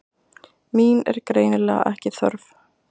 Mín er greinilega ekki þörf.